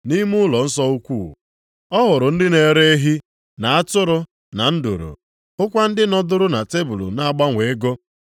Nʼime ụlọnsọ ukwu, ọ hụrụ ndị na-ere ehi, na atụrụ na nduru. Hụkwa ndị nọdụrụ na tebul na-agbanwe ego.